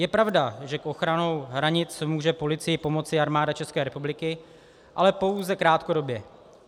Je pravda, že s ochranou hranic může policii pomoci armáda České republiky, ale pouze krátkodobě.